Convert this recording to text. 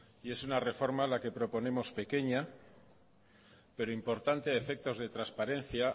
y es una reforma la que proponemos pequeña pero importante a efectos de transparencia